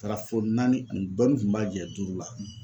A taara fɔ naani ani dɔɔnin kun b'a jɛ duuru la.